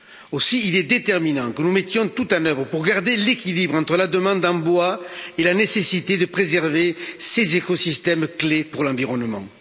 Aussi il est déterminant que nous mettions tout en œuvre pour garder l'équilibre entre la demande en bois et la nécessité de préserver ces écosystèmes essentiels pour l'environnement.